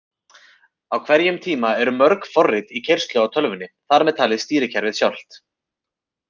Á hverjum tíma eru mörg forrit í keyrslu á tölvunni, þar með talið stýrikerfið sjálft!